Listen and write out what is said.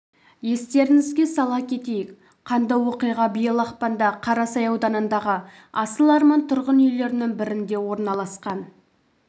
естеріңізге сала кетейік қанды оқиға биыл ақпанда қарасай ауданындағы асыл арман тұрғын үйлерінің бірінде орналасқан